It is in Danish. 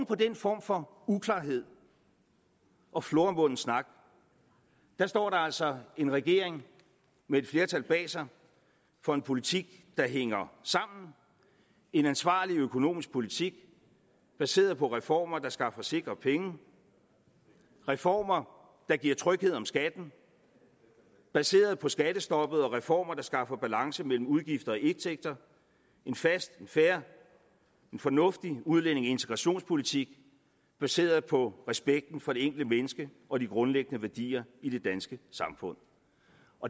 på den form for uklarhed og floromvunden snak står der altså en regering med et flertal bag sig for en politik der hænger sammen en ansvarlig økonomisk politik baseret på reformer der skaffer sikre penge reformer der giver tryghed om skatten baseret på skattestoppet og reformer der skaffer balance mellem udgifter og indtægter en fast og fair og fornuftig udlændinge og integrationspolitik baseret på respekten for det enkelte menneske og de grundlæggende værdier i det danske samfund